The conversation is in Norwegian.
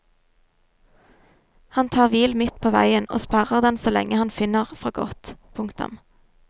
Han tar hvil midt på veien og sperrer den så lenge han finner for godt. punktum